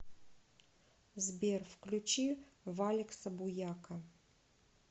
сбер включи валекса буяка